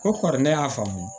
Ko kɔri ne y'a faamu